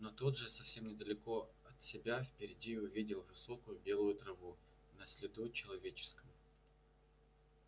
но тут же совсем недалеко от себя впереди увидел высокую белую траву на следу человеческом